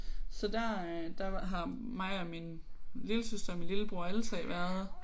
Så der øh der har mig og min lillesøster og min lillebror alle 3 været